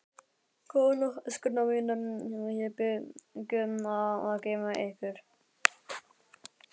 Góða nótt, elskurnar mínar, ég bið guð að geyma ykkur.